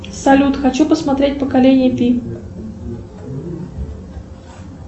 салют хочу посмотреть поколение пи